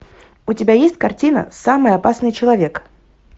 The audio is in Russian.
у тебя есть картина самый опасный человек